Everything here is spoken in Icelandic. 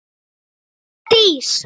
Brynja Dís.